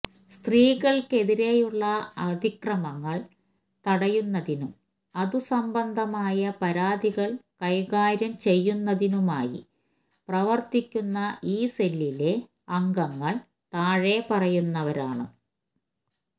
സ്ത്രീകള്ക്കെതിരെയുള്ള അതിക്രമങ്ങള് തടയുന്നതിനും അതു സംബന്ധമായ പരാതികള് കൈകാര്യം ചെയ്യുന്നതിനുമായി പ്രവര്ത്തിക്കുന്ന ഈ സെല്ലിലെ അംഗങ്ങള് താഴെ പറയുന്നവരാണ്